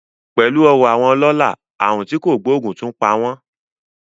Pẹ̀lú ọrọ̀ àwọn ọlọ́lá, àrùn tí kò gbóògùn tún pa wọ́n